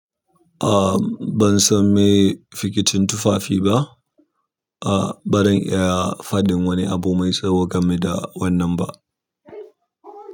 A ban san meye fikitin tufafi ba, a ba zan iya faɗin wani abu mai tsawo game da wannan ba.